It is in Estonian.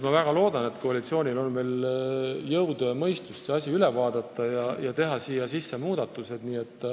Ma väga loodan, et koalitsioonil on veel jõudu ja mõistust see eelnõu üle vaadata ja teha teatud muudatused.